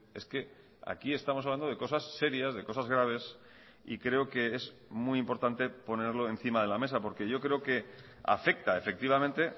es que aquí estamos hablando de cosas serias de cosas graves y creo que es muy importante ponerlo encima de la mesa porque yo creo que afecta efectivamente